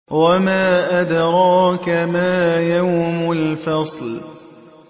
وَمَا أَدْرَاكَ مَا يَوْمُ الْفَصْلِ